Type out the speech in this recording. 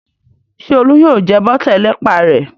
Ṣé Olú yóò jẹ bọ́tà ẹlẹ́pà rẹ̀?